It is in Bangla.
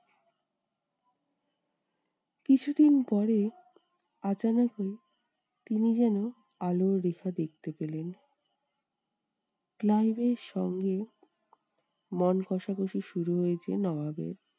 কিছুদিন পরে তিনি যেন আলোর রেখা দেখতে পেলেন। ক্লাইভের সঙ্গে মন কষাকষি শুরু হয়েছে নবাবের।